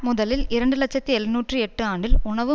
முதலில் இரண்டு இலட்சத்தி எழுநூற்று எட்டு ஆண்டில் உணவு